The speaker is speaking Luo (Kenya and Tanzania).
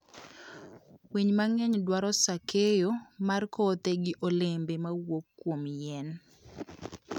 Winy mang'eny dwaro saa keyo mar kothe gi olembe mawuok kuom yien.